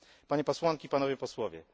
Panie Posłanki! Panowie Posłowie!